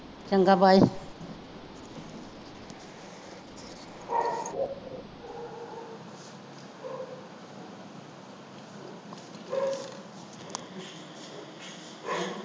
ਚੰਗਾ bye